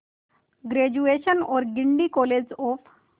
graduation और Guindy college of